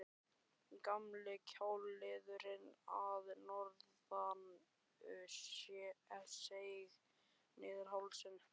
Gamli kjálkaliðurinn að norðan seig niður hálsinn.